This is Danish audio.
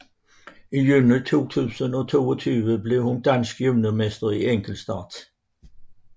I juni 2022 blev hun dansk juniormester i enkeltstart